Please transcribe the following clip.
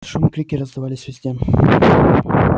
шум и крики раздавались везде